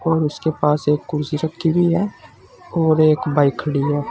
और उसके पास एक कुर्सी रखी हुई हैं और एक बाइक खड़ी है।